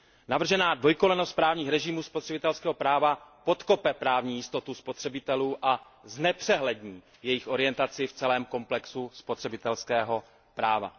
Navržená dvojkolejnost právních režimů spotřebitelského práva podkope právní jistotu spotřebitelů a znepřehlední jejich orientaci v celém komplexu spotřebitelského práva.